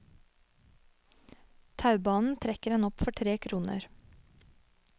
Taubanen trekker en opp for tre kroner.